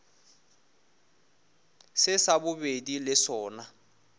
se sa bobedi le sona